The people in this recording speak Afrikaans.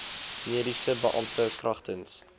mediese beampte kragtens